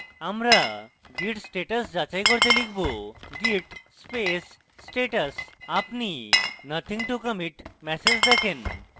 আমরা git status যাচাই করতে লিখব git space status আপনি nothing to commit ম্যাসেজ দেখেন